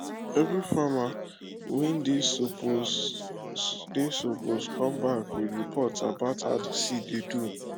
every farmer wey dey suppose dey suppose come back with report about how de seed dey do